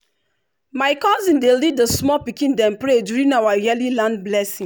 my cousin dey lead the small pikin dem pray during our yearly land blessing.